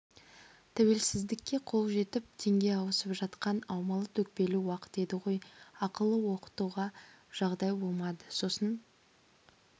тәуелсіздікке қол жетіп теңге ауысып жатқан аумалы-төкпелі уақыт еді ғой ақылы оқытуға жағдай болмады сосын